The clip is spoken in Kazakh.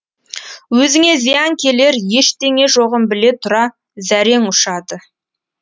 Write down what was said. өзіңе зиян келер ештеңе жоғын біле тұра зәрең ұшады